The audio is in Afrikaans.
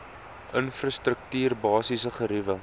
infrastruktuur basiese geriewe